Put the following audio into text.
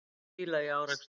Tugir bíla í árekstri